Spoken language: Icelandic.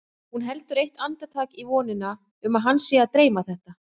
Hún heldur eitt andartak í vonina um að hana sé að dreyma þetta.